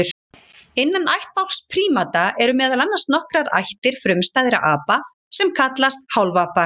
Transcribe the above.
Innan ættbálks prímata eru meðal annars nokkrar ættir frumstæðra apa sem kallast hálfapar.